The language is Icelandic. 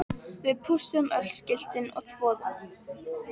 VIÐ PÚSSUÐUM ÖLL SKILTIN OG ÞVOÐUM